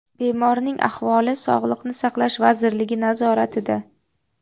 Bemorning ahvoli Sog‘liqni saqlash vazirligi nazoratida.